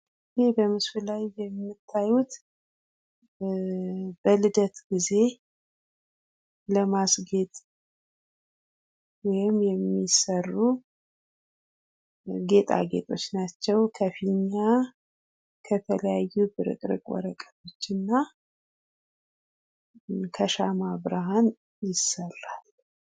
ይህ በምስሉ ላይ የምታዩት በልደት ጊዜ ለማስጌጥ ወይም የሚሰሩ ጌጣጌጦች ናቸው ከፊኛ ከተለያዩ ቅርጥርጥ ወረቀቶች እና ከሻማ ብርሃን ይሰራል።